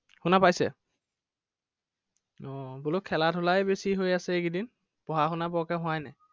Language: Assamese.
শুনা পাইছে আহ বোলো খেলা-ধুলা হে বেছি হৈ আছে এইকেইদিন। পঢ়া-শুনা বৰকে হোৱাই নাই।